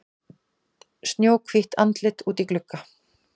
Snjóhvítt andlit úti í glugga.